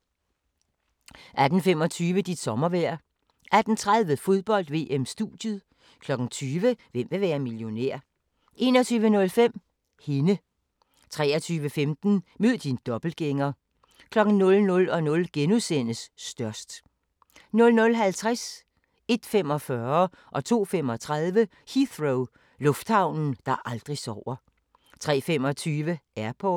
18:25: Dit sommervejr 18:30: Fodbold: VM-studiet 20:00: Hvem vil være millionær? 21:05: Hende 23:15: Mød din dobbeltgænger 00:00: Størst * 00:50: Heathrow - lufthavnen, der aldrig sover 01:45: Heathrow - lufthavnen, der aldrig sover 02:35: Heathrow - lufthavnen, der aldrig sover 03:25: Airport